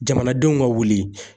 Jamanadenw ka wuli.